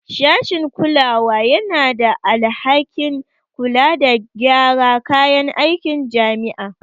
Sashin kulawa yana da alhakin kula da gyara kayan aikin jami'a